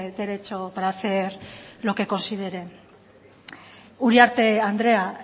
derecho para hacer lo que considere uriarte andrea